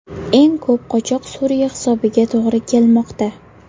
Eng ko‘p qochoq Suriya hisobiga to‘g‘ri kelmoqda.